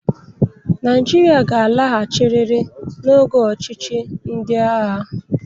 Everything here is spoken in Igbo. Naịjirịa ga-alaghachiriri n'oge ọchịchị ndị agha.